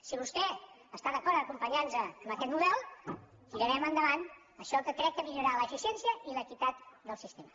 si vostè està d’acord a acompanyar·nos en aquest mo·del tirarem endavant això que crec que millorarà l’efi·ciència i l’equitat del sistema